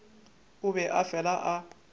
o be a fela a